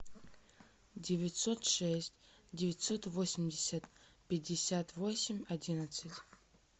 девятьсот шесть девятьсот восемьдесят пятьдесят восемь одиннадцать